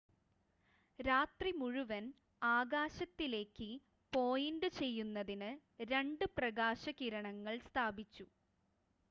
രാത്രി മുഴുവൻ ആകാശത്തിലേക്ക് പോയിൻ്റ് ചെയ്യുന്നതിന് രണ്ട് പ്രകാശകിരണങ്ങൾ സ്ഥാപിച്ചു